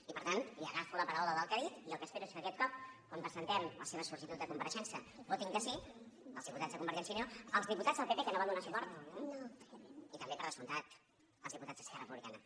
i per tant li agafo la paraula del que ha dit i el que espero és que aquest cop quan presentem la seva sol·licitud de compareixença votin que sí els diputats de convergència i unió els diputats del pp que no hi van donar suport i també per descomptat els diputats d’esquerra republicana